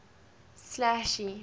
slashy